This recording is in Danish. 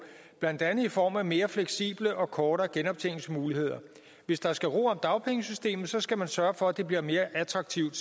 blandt andet i form af mere fleksible og kortere genoptjeningsmuligheder hvis der skal ro om dagpengesystemet så skal man sørge for at det bliver mere attraktivt